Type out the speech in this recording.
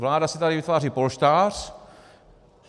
Vláda si tady vytváří polštář.